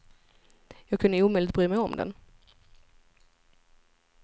Jag kunde omöjligt bry mig om den.